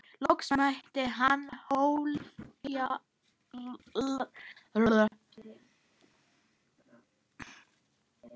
Loks mætti hann ofjarli sínum.